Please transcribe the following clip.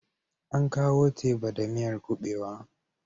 An kawo teba da miyar kuɓewa.